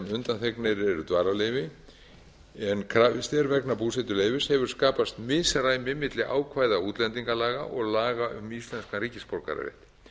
undanþegnir eru dvalarleyfi en krafist er vegna búsetuleyfis hefur skapast misræmi milli ákvæða útlendingalaga og laga um íslenskan ríkisborgararétt